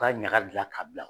U ka ɲaka gilan ka bila.